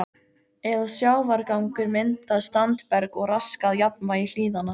eða sjávargangur myndað standberg og raskað jafnvægi hlíðanna.